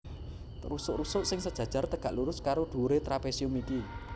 Rusuk rusuk sing sejajar tegak lurus karo dhuwuré trapésium iki